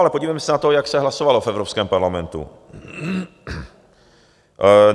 Ale podívejme se na to, jak se hlasovalo v Evropském parlamentu.